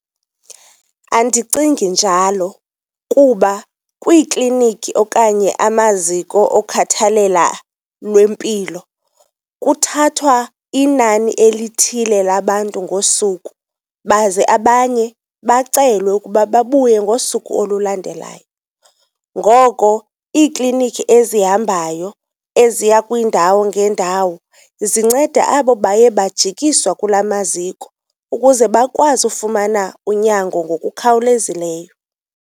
Andicingi njalo kuba kwiiklinikhi okanye amaziko okhathalela lwempilo kuthathwa inani elithile labantu ngosuku, baze abanye bacelwe ukuba babuye ngosuku olulandelayo. Ngoko iiklinikhi ezihambayo eziya kwiindawo ngeendawo zinceda abo baye bajikiswa kula maziko, ukuze bakwazi ufumana unyango ngokukhawulezileyo.